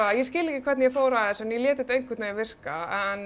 ég skil ekki hvernig ég fór að þessu en ég lét þetta einhvern veginn virka